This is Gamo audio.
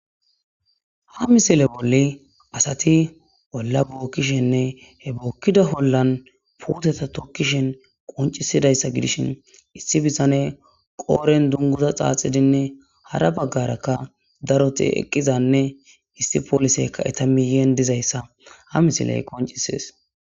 Ha misile bolli asati olla bookkishenne he bookkida ollan puuteta tokkishin qonccisidayssa gidishin, issi bitane qoodhdhen dunguza xaaxidinne hara baggarakka daroti eqqizanne issi pooliseykka eeta miyyen de'izayssa ha misiley qonccisees.